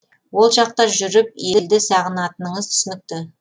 ол жақта жүріп елді сағынатыныңыз түсінікті